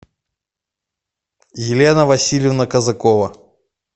елена васильевна казакова